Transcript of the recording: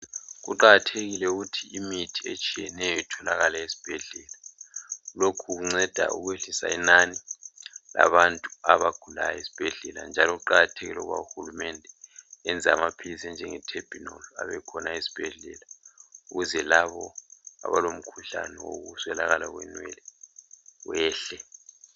Kuqakathekile ukuthi imithi etshiyeneyo itholakale esibhedlela lokhu kunceda ukwehlisa inani labantu abagulayo esibhedlela. Njalo kuqakathekile njalo ukuba uhulumende ayenze amaphilisi anjenge Terbinol abekhona esibhedlela ukwenzela labo abalomkhuhlane wokuswelakala kwenwele wehle.